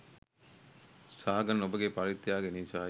සාගන් ඔබගේ පරිත්‍යාගය නිසයි